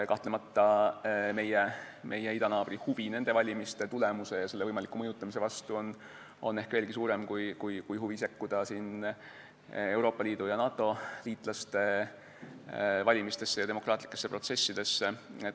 Kahtlemata, meie idanaabri huvi nende valimiste tulemuse ja võimaliku mõjutamise vastu on ehk veelgi suurem kui huvi sekkuda Euroopa Liidu ja NATO liitlaste valimistesse ja demokraatlikesse protsessidesse.